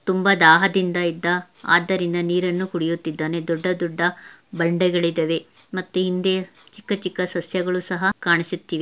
ತುಂಬಾ ದಾಹದಿಂದ ಇದ್ದ ಆದ್ದರಿಂದ ನೀರನ್ನು ಕುಡಿಯುತ್ತಿದ್ದೇನೆ ದೊಡ್ಡ ದೊಡ್ಡ ಬಂಡೆಗಳಿದವೆ ಮತ್ತೆ ಹಿಂದೆ ಚಿಕ್ಕ ಚಿಕ್ಕ ಸಸ್ಯಗಳು ಸಹ ಕಾಣಿಸುತ್ತಿವೆ.